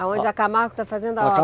Aonde a Camargo está fazendo a